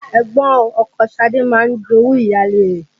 Ẹ̀gbọ́n ọkọ Ṣadé máa ń jowú ìyáálé rẹ̀